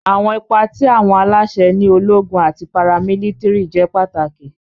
Awọn ipa ti awọn alaṣẹ ni ologun ati paramilitiri jẹ pataki.